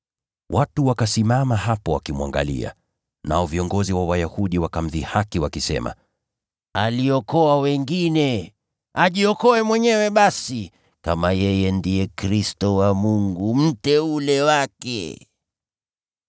Watu wakasimama hapo wakimwangalia, nao viongozi wa Wayahudi wakamdhihaki wakisema, “Aliokoa wengine! Ajiokoe mwenyewe basi, kama yeye ndiye Kristo wa Mungu, Mteule wake.”